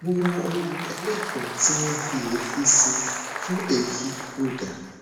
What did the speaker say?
mo ra ohun èlò kan tí wọn fi èédú ṣe fún èéfín ọdà